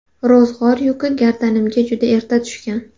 Ro‘zg‘or yuki gardanimga juda erta tushgan.